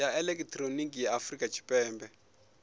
ya elekihironiki ya afurika tshipembe